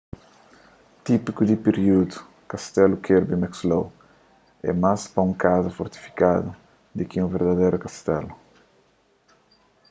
típiku di períudu kastelu kirby muxloe é más pa un kaza fortifikadu di ki un verdaderu kastelu